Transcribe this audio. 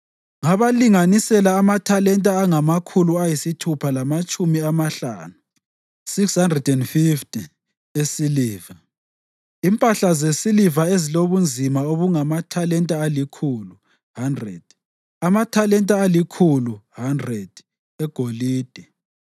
Ngabalinganisela amathalenta angamakhulu ayisithupha lamatshumi amahlanu (650) esiliva, impahla zesiliva ezilobunzima obungamathalenta alikhulu (100), amathalenta alikhulu (100) egolide,